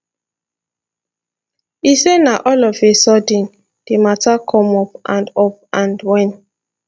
e say na all of a sudden di mata come up and up and wen